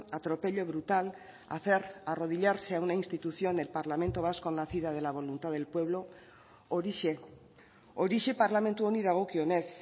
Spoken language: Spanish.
atropello brutal hacer arrodillase a una institución el parlamento vasco nacido de la voluntad del pueblo horixe horixe parlamentu honi dagokionez